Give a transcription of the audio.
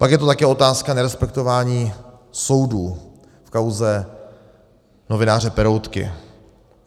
Pak je to také otázka nerespektování soudů v kauze novináře Peroutky.